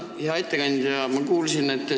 Hea ettekandja!